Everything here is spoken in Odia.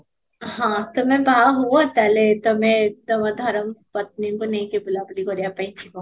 ହଁ, ତମେ ବାହା ହୁଅ ତାହେଲେ ତମେ ତମ ଧର୍ମ ପତ୍ନୀକୁ ନେଇକି ବୁଲା ବୁଲି କରିବା ପାଇଁ ଯିବ